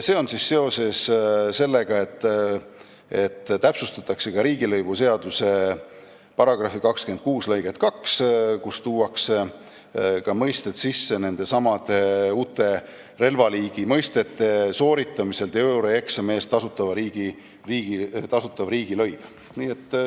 See on seoses sellega, et täpsustatakse ka riigilõivuseaduse § 264 lõiget 2, kuhu tuuakse sisse ka nendesamade uute relvaliigi mõistete teooriaeksami sooritamise eest tasutav riigilõiv.